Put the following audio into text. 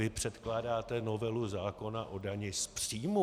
Vy předkládáte novelu zákona o dani z příjmu.